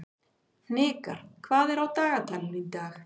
Hnikar, hvað er á dagatalinu í dag?